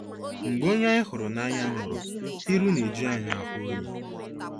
Mgbe onye anyị hụrụ n'anya nwụrụ, iru na-eju anyị ahụ oyi.